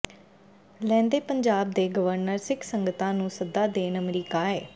ਲਹਿੰਦੇ ਪੰਜਾਬ ਦੇ ਗਵਰਨਰ ਸਿੱਖ ਸੰਗਤਾਂ ਨੂੰ ਸੱਦਾ ਦੇਣ ਅਮਰੀਕਾ ਆਏ